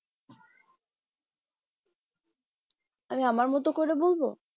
অরে আমার মতো করে বলবো